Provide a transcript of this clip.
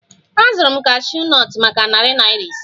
Azụrụ m cashew nut maka narị naira ise